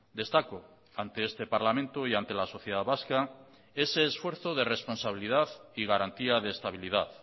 destaco ante este parlamento y ante la sociedad vasca ese esfuerzo de responsabilidad y garantía de estabilidad